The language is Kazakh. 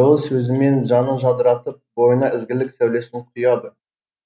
жылы сөзімен жанын жадыратып бойына ізгілік сәулесін құяды